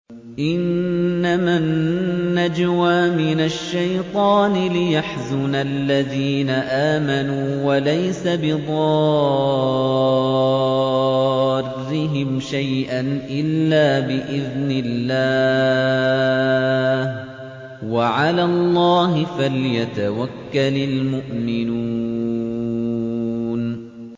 إِنَّمَا النَّجْوَىٰ مِنَ الشَّيْطَانِ لِيَحْزُنَ الَّذِينَ آمَنُوا وَلَيْسَ بِضَارِّهِمْ شَيْئًا إِلَّا بِإِذْنِ اللَّهِ ۚ وَعَلَى اللَّهِ فَلْيَتَوَكَّلِ الْمُؤْمِنُونَ